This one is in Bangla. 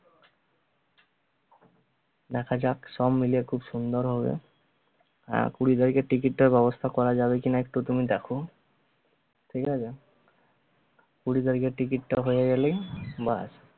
দেখা যাক সবমিলে খুব সুন্দর হবে। আহ কুঁড়ি তারিখের ticket টা ব্যবস্থা করা যাবে কিনা একটু তুমি দেখো ঠগি আছে? কুঁড়ি তারিখের ticket টা হয়ে গেলেই বাস